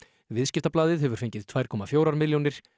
viðskiptablaðið hefur fengið tvær komma fjórar milljónir